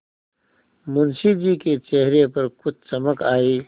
मुंशी जी के चेहरे पर कुछ चमक आई